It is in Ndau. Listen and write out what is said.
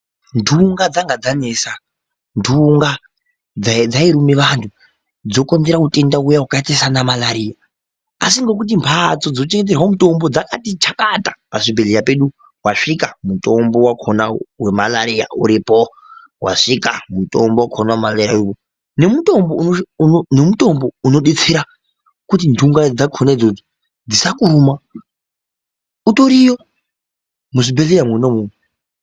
Txunga dzanga dzanesa txunga dzairuma vantu dzokonzera utenda uya vakaita sana malaliya. Asi ngekuti mhatso dzinochengeterwa mutombo dzakati chakata pazvibhedhleya pedu vasvika mutombo vakona vemalaliya uripo. Vasvika mutombo vakona vemalaliya nemutombo unobetsera kuti nhunga dzakona idzodzo dzisakuruma utoriyo muzvibhedhleya mwona imwomwo.